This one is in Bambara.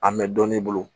A mɛ dɔnni bolo